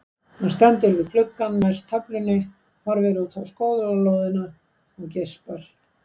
Hann stendur við gluggann næst töflunni, horfir út á skólalóðina og geispar.